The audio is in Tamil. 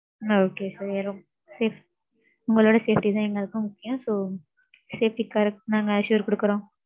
Okay sir. ~ safe. உங்களோட safety தான் எங்களுக்கும் முக்கியம். so, safety க்காக நாங்க assure குடுக்குறோம்.